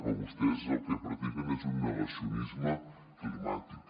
però vostès el que practiquen és un negacionisme climàtic